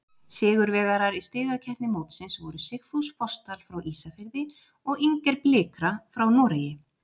Sigurvegarar í stigakeppni mótsins voru Sigfús Fossdal frá Ísafirði og Inger Blikra frá Noregi.